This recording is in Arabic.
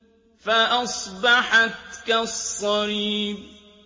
فَأَصْبَحَتْ كَالصَّرِيمِ